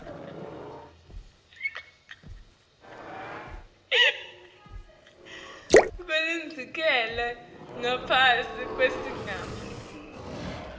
kulindzelekile ngaphasi kwesigaba